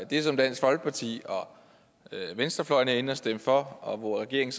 det som dansk folkeparti og venstrefløjen var inde at stemme for og hvor regeringen